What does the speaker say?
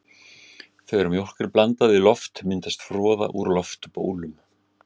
Þegar mjólk er blandað við loft myndast froða úr loftbólum.